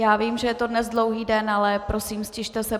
Já vím, že je to dnes dlouhý den, ale prosím, ztište se.